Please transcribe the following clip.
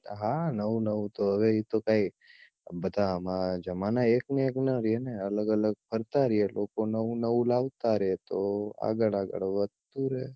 હા નવું નવું તો હવે એ તો કાય બધાં જમાના એક ના એક ના રે ને અલગ અલગ ફરતાં રે લોકો નવું નવું લાવતાં રે તો આગળ આગળ વધતું રે